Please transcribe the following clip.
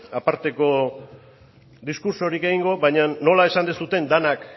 aparteko diskurtsorik egingo baina nola esan duzuen denak